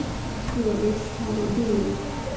Ég vil fara í bíó